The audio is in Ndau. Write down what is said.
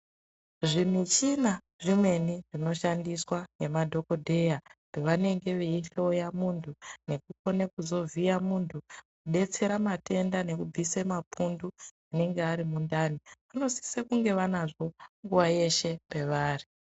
Zvimuchina zvemene zvinoshandiswa ngemadhokodheya pavanenge veihloya muntu nekukone kuzovhiya muntu kudetsera matenda nekubvise mapundu anenge ari mundani kunosise kunge vanazvo nguwa yeshe pavari.